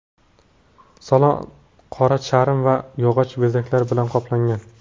Salon qora charm va yog‘och bezaklari bilan qoplangan.